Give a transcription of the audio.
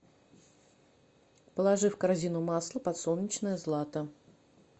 положи в корзину масло подсолнечное злато